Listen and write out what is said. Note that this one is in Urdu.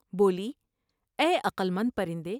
بولی '' اے عقل مند پرندے!